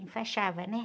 Enfaixava, né?